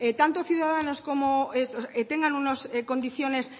tanto ciudadanos como ellos tengan unas condiciones